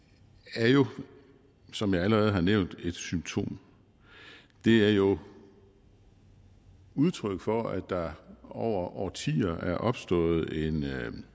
er jo som jeg allerede har nævnt et symptom det er jo udtryk for at der over årtier er opstået en